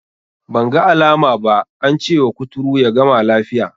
Banga alama ba, ance wa kuturu ya gama lafiya.